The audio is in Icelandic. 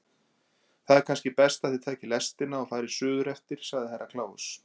Það er kannski best að þið takið lestina og farið suðureftir, sagði Herra Kláus.